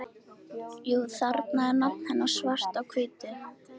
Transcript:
Jú, þarna er nafn hennar svart á hvítu